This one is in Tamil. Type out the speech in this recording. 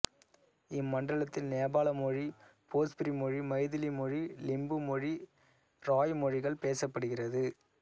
இம்மண்டலத்தில் நேபாள மொழி போஜ்புரி மொழி மைதிலி மொழி லிம்பு மொழி இராய் மொழிகள் பேசப்படுகிறது